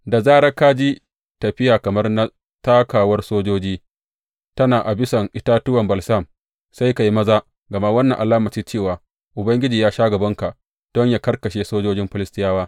Da zarar ka ji tafiya kamar na takawar sojoji tana a bisan itatuwan balsam, sai ka yi maza, gama wannan alama ce cewa Ubangiji ya sha gabanka don yă karkashe sojojin Filistiyawa.